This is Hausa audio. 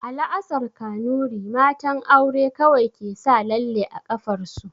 A la'asar Kanuri, matan aure kawai ke sa lalle a ƙafar su